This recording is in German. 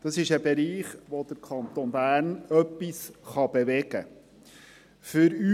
Dies ist ein Bereich, in dem der Kanton Bern etwas bewegen kann.